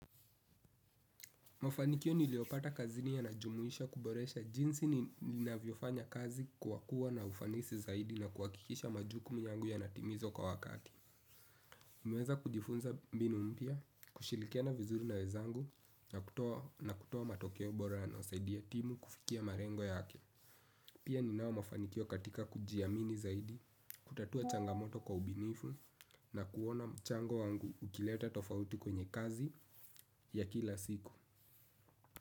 Mafanikio niliyopata kazini yanajumuisha kuboresha jinsi ninavyofanya kazi kwa kuwa na ufanisi zaidi na kuhakikisha majukumu yangu yanatimizwa kwa wakati. Nimeweza kujifunza mbinu mpya, kushirikiana vizuri na wezangu na kutoa matokeo bora yanayosaidia timu kufikia malengo yake. Pia ninao mafanikio katika kujiamini zaidi, kutatua changamoto kwa ubinifu na kuona mchango wangu ukileta tofauti kwenye kazi ya kila siku.